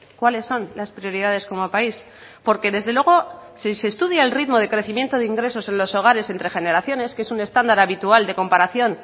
cuáles son las prioridades como país porque desde luego si se estudia el ritmo de crecimiento de ingresos en los hogares entre generaciones que es un estándar habitual de comparación